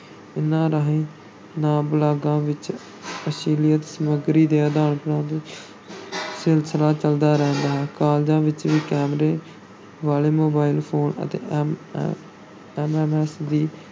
ਇਨ੍ਹਾਂ ਰਾਹੀਂ ਨਾ-ਬਾਲਗਾਂ ਵਿੱਚ ਅਸ਼ਲੀਲ ਸਮੱਗਰੀ ਦੇ ਆਦਾਨ-ਪ੍ਰਦਾਨ ਸਿਲਸਿਲਾ ਚੱਲਦਾ ਰਹਿੰਦਾ ਹੈ, ਕਾਲਜਾਂ ਵਿੱਚ ਵੀ ਕੈਮਰੇ ਵਾਲੇ mobile phone ਅਤੇ m MMS ਦੀ